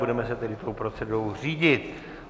Budeme se tedy tou procedurou řídit.